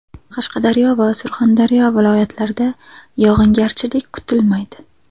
Qashqadaryo va Surxondaryo viloyatlarida yog‘ingarchilik kutilmaydi.